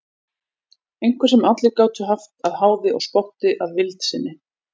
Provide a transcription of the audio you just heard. Einhver sem allir gátu haft að háði og spotti að vild sinni.